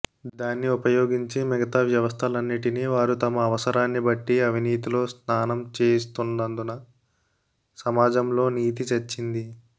దాన్ని ఉపయోగించి మిగతా వ్యవస్థలన్నిటినీ వారు తమ అవసరాన్ని బట్టి అవినీతిలో స్నానం చేయిస్తున్నందున సమాజంలో నీతి చచ్చింది